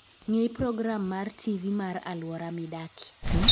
Ng'i program mar TV mar alwora midakie